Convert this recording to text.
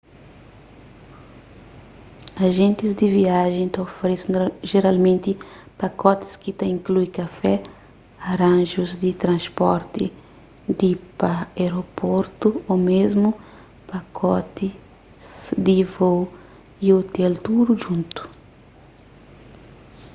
ajentis di viajen ta oferese jeralmenti pakotis ki ta inklui kafé aranjus di transporti di/pa aeroportu ô mésmu pakotis di vôu y ôtel tudu djuntu